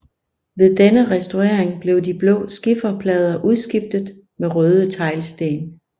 Ved denne restaurering blev de blå skifer plader udskiftet med røde teglsten